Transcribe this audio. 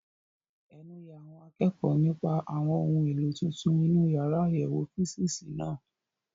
Ẹnu ya àwọn akẹ́kọ̀ọ́ nípa àwọn ohun èlò tuntun inú yàrá àyẹ̀wò físììsì náà.